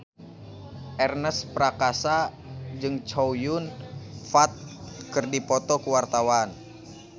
Ernest Prakasa jeung Chow Yun Fat keur dipoto ku wartawan